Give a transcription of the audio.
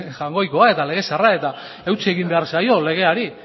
jaungoikoa lege zaharra eta eutsi egin behar zaio legeari